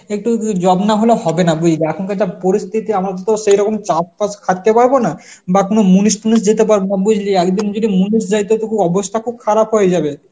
একটু উম job না হলে হবে না বুঝ~ এখনকার যা পরিস্থিতি আমাদের তো সেরকম চাপ কাজ খাটতে পারবো না বা কোন মূনুষ টুনুস যেতে পারবো না বুঝলি. যদি মূনুষ যাই তাহলে তো খুব অবস্থা খুব খারাপ হয়ে যাবে